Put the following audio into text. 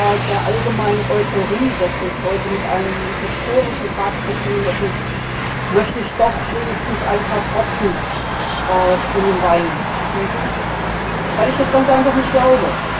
Aber der allgemeinen Euphorie, dass wir es heute mit einem historischen Tag zu tun hätten, möchte ich doch wenigstens ein paar Tropfen in den Wein gießen, weil ich das ganz einfach nicht glaube.